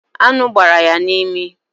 Aṅụ gbara ya n'imi